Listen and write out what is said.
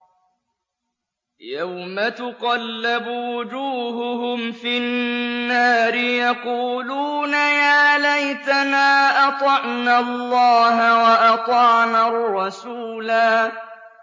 يَوْمَ تُقَلَّبُ وُجُوهُهُمْ فِي النَّارِ يَقُولُونَ يَا لَيْتَنَا أَطَعْنَا اللَّهَ وَأَطَعْنَا الرَّسُولَا